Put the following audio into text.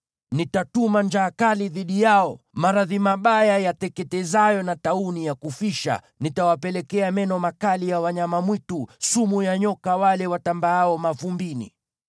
Nitatuma njaa kali dhidi yao maradhi mabaya, yateketezayo na tauni ya kufisha; nitawapelekea meno makali ya wanyama mwitu, na sumu ya nyoka wale watambaao mavumbini.